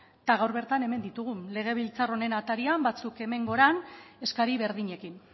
eta gaur bertan hemen ditugu legebiltzar honen atarian batzuk hemen goian eskari berdinekin